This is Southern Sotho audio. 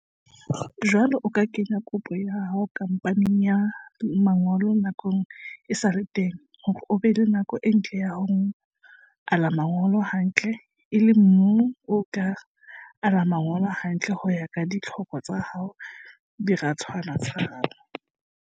Jwale o ka kenya kopo ya hao khamphaneng ya manyolo nako e sa le teng hore o be le nako e ntle ya ho ala manyolo hantle, e leng moo o tla ala manyolo hantle ho ya ka ditlhoko tsa diratswana tsa hao.